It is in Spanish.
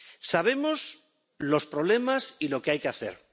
Sabemos los problemas y lo que hay que hacer.